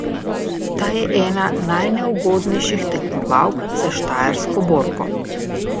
Ta je ena najneugodnejših tekmovalk za štajersko borko.